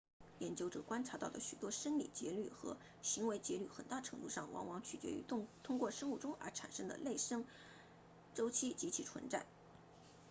研究者观察到的许多生理节律和行为节律很大程度上往往取决于通过生物钟而产生的内生周期及其存在